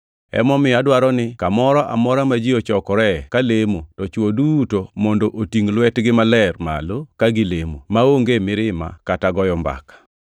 Emomiyo adwaro ni kamoro amora ma ji ochokoree ka lemo to chwo duto mondo otingʼ lwetgi maler malo ka gilemo, maonge mirima kata goyo mbaka.